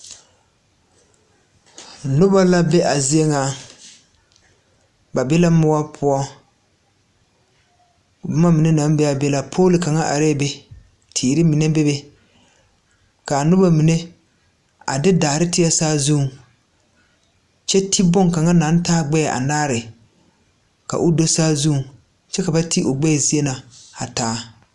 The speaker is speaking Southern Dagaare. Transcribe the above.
Nobɔ la be a zie ŋa ba be la moɔ poɔ bomma mine naŋ bee aa be la pool kaŋa areɛɛ be teere mine bebe kaa nobɔ mine a de daare tēɛ saazuŋ kyɛ te bonkaŋa naŋ taa gbɛɛ anaare ka o do saazuŋ kyɛ ka ba te o gbɛɛ zie na a taa.